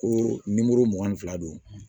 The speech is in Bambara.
Ko nimoro mugan ni fila don